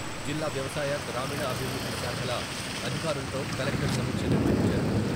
జిల్లా వ్యవసాయ, గ్రామీణ అభివృద్ధి శాఖల అధికారులతో కలెక్టర్ సమీక్ష నిర్వహించారు.